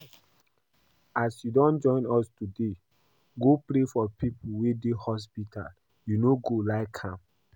As you don join us today go pray for people wey dey hospital, you no like am?